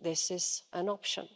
this is an option.